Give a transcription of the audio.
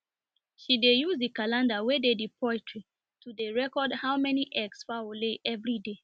she dey use the calender wen dey the poultry to dey record how many eggs fowl lay everyday